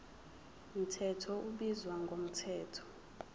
mthetho ubizwa ngomthetho